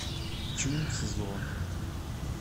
чунцзо